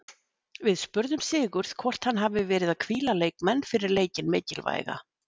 Við spurðum Sigurð hvort hann hafi verið að hvíla leikmenn fyrir leikinn mikilvæga?